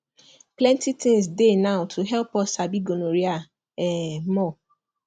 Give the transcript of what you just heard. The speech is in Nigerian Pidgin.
plenty things dey now to help us sabi gonorrhea um more